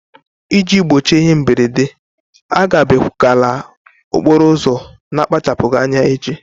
Iji gbochie ihe mberede, agabigala okporo ụzọ na-akpachapụghị anya echi.